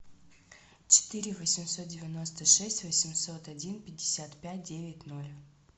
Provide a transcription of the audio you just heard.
четыре восемьсот девяносто шесть восемьсот один пятьдесят пять девять ноль